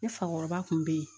Ne fakɔrɔba kun be ye